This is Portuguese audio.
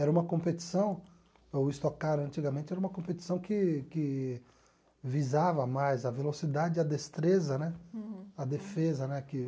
Era uma competição, o stock car antigamente era uma competição que que visava mais a velocidade e a destreza né, a defesa né que